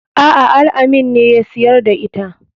A'a al-amin ne ya siyar da ita.